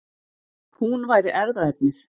Hún væri erfðaefnið.